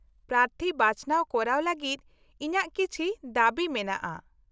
-ᱯᱨᱟᱨᱛᱷᱤ ᱵᱟᱪᱷᱱᱟᱣ ᱠᱚᱨᱟᱣ ᱞᱟᱹᱜᱤᱫ ᱤᱧᱟᱹᱜ ᱠᱤᱪᱷᱤ ᱫᱟᱹᱵᱤ ᱢᱮᱱᱟᱜᱼᱟ ᱾